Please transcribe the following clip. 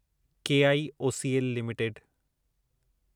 KIOCL limited